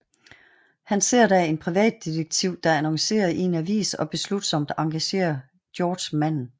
Han ser da en privatdetektiv der annoncere i en avis og beslutsomt engagerer Georg manden